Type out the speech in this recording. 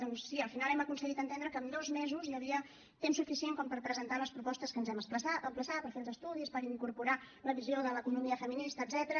doncs sí al final hem aconseguit entendre que amb dos mesos hi havia temps suficient com per presentar les propostes a què ens hem emplaçat per fer els estudis per incorporar la visió de l’economia feminista etcètera